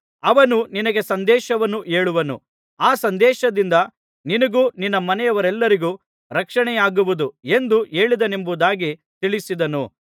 ಅವನು ನಿನಗೆ ಸಂದೇಶವನ್ನು ಹೇಳುವನು ಆ ಸಂದೇಶದಿಂದ ನಿನಗೂ ನಿನ್ನ ಮನೆಯವರೆಲ್ಲರಿಗೂ ರಕ್ಷಣೆಯಾಗುವದು ಎಂದು ಹೇಳಿದನೆಂಬುದಾಗಿ ತಿಳಿಸಿದನು